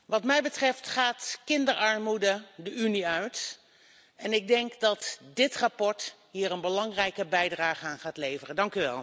Wat mij betreft gaat kinderarmoede de Unie uit, en ik denk dat dit verslag hier een belangrijke bijdrage aan gaat leveren.